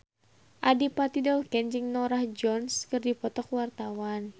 Adipati Dolken jeung Norah Jones keur dipoto ku wartawan